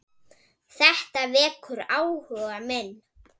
Þetta vekur áhuga minn.